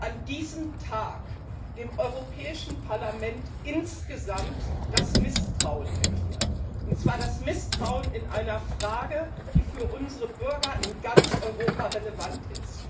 an diesem Tag dem Europäischen Parlament insgesamt das Misstrauen erklärt, und zwar das Misstrauen in einer Frage, die für unsere Bürger in ganz Europa relevant ist.